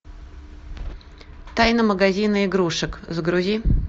тайна магазина игрушек загрузи